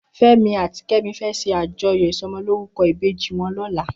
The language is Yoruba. Femi àtí Kemi fè ṣé àjóyó isòmòlórúkò ibéji wòn lòlá